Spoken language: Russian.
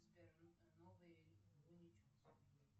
сбер новые луни тьюнз